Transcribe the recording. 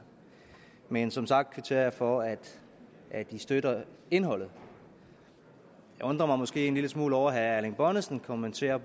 men som sagt kvitterer jeg for at i støtter indholdet jeg undrer mig måske en lille smule over at herre erling bonnesen kommenterer